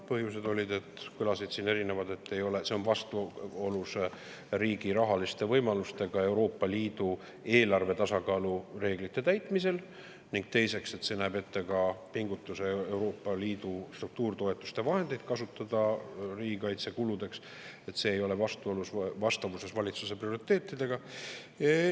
Põhjuseid kõlas siin erinevaid: esiteks, see on vastuolus riigi rahaliste võimalustega Euroopa Liidu eelarvetasakaalu reeglite täitmisel, ning teiseks, see näeb ette pingutuse, et kasutada Euroopa Liidu struktuuritoetuste vahendeid riigikaitsekuludeks, aga see ei ole vastavuses valitsuse prioriteetidega.